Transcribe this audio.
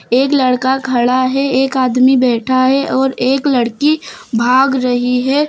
एक लड़का खड़ा है एक आदमी बैठा है और एक लड़की भाग रही है।